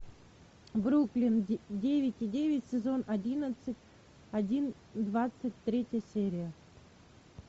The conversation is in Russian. бруклин девять и девять сезон одиннадцать один двадцать третья серия